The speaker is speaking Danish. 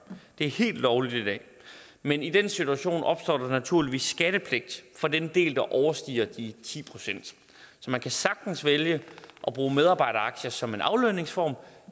det er helt lovligt i dag men i den situation opstår der naturligvis skattepligt for den del der overstiger de ti procent så man kan sagtens vælge at bruge medarbejderaktier som en aflønningsform